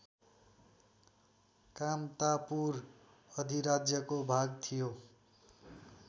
कामतापुर अधिराज्यको भाग थियो